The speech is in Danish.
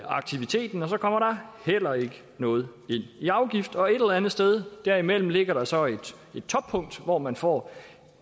aktiviteten og så kommer der heller ikke noget ind i afgift og et eller andet sted derimellem ligger der så et toppunkt hvor man får